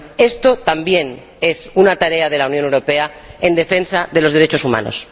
Esto también es una tarea de la Unión Europea en defensa de los derechos humanos.